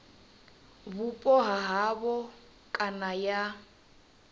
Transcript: vhupo ha havho kana ya